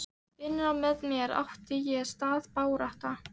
Innra með mér átti sér stað barátta.